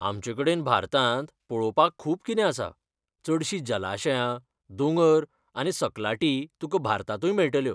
आमचेकडेन भारतांत पळोवपाक खूब कितें आसा, चडशीं जलाशयां, दोंगर आनी सकलाटी तुका भारतांतूय मेळटल्यो.